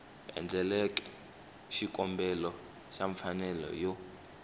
endleke xikombelo xa mfanelo yo